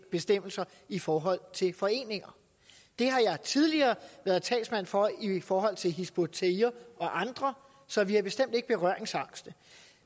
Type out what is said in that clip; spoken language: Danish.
bestemmelser i forhold til foreninger det har jeg tidligere været talsmand for i forhold til hizb ut tahrir og andre så vi er bestemt ikke berøringsangste